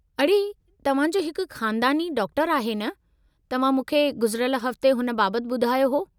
अड़े, तव्हां जो हिकु ख़ानदानी डाक्टरु आहे न? तव्हां मूंखे गुज़िरियल हफ़्ते हुन बाबति ॿुधायो हो।